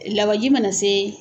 Lawanji mana se